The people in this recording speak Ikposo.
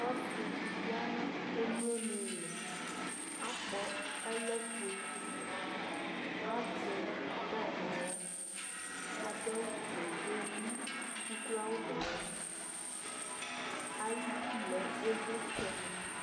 Ɔsɩ ya nʋ emlonɩ ɩɩlɩ Akpɔ ɛlɔfue Azɛ dzintar nʋ aɣla Adʋfue kʋ ewu ukloawʋ nʋ ʋlɩ Ayidu lɛ ɩvlɩtsɛnɩ